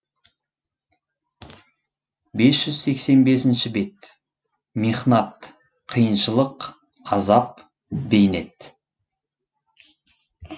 бес жүз сексен бесінші бет михнат қиыншылық азап бейнет